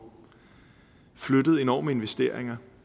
flyttet enorme investeringer